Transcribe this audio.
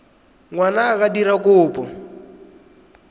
ngwana a ka dira kopo